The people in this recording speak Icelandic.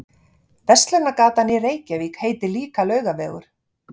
Verslunargatan í Reykjavík heitir líka Laugavegur.